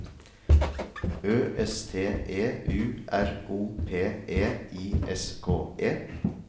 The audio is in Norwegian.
Ø S T E U R O P E I S K E